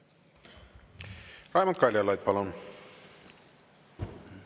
Raimond Kaljulaid, palun!